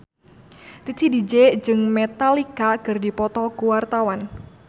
Titi DJ jeung Metallica keur dipoto ku wartawan